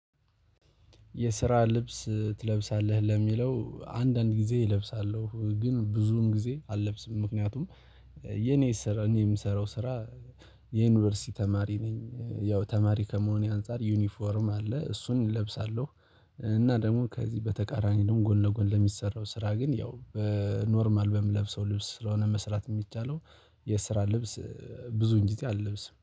የስራ ልብስ ትለብሳለህ ለሚለው አንዳንድ ጊዜ እለብሳለሁ ግን ብዙም ጊዜ አልለብስም ምክንያቱም የኔ የምሰራው ስራ የዩኒቨርሲቲ ተማሪ ነኝ ያው ተማሪ ከመሆኔ አንፃር ዩኒፎርም አለ እሱን እለብሳለሁ። እና ደግሞ ከዚህ በተቃራኒ ደግሞ ጎን ለጎን ለሚሰራው ስራ ግን ያው በኖርማል በምለብሰው ልብስ ስለሆነ መስራት የሚቻለው የስራ ልብስ ብዙ እንጂ አልለብስም